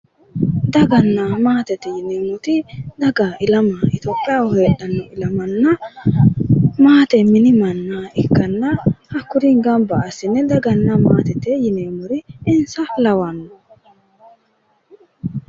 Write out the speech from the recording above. Daganna maatete yineemmoti daga ilama itiyophiyaho heedhanno ilamanna maate mini manna ikkanna hakkuri gamba assine daganna maatete yineemmori insa lawanno.